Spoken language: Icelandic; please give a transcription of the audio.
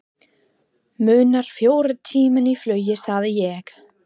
Munar fjórum tímum í flugi sagði ég.